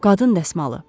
Qadın dəsmalı.